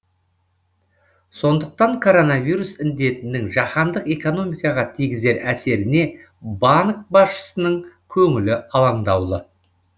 сондықтан коронавирус індетінің жаһандық экономикаға тигізер әсеріне банк басшысының көңілі алаңдаулы